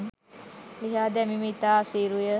ලිහා දැමීම ඉතා අසීරු ය.